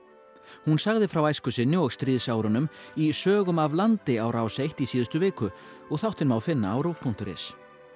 hún sagði frá æsku sinni og stríðsárunum í sögum af landi á Rás eitt í síðustu viku og þáttinn má finna á ruv punktur is